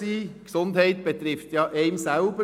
Die Gesundheit betrifft einen selbst.